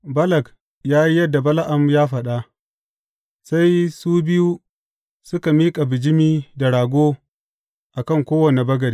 Balak ya yi yadda Bala’am ya faɗa, sai su biyu suka miƙa bijimi da rago a kan kowane bagade.